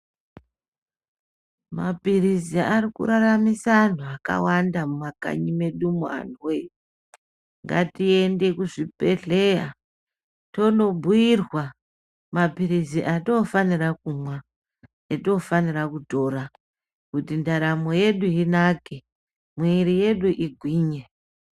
Mapirizi Ari kuraramisa antu zvakawanda mumakanyi medu antu woye ngatiende kuzvibhedhlera tobhuitwa mapirizi atinofanira kumwa atinofanira kutora ndaramo yedu inake igwinye.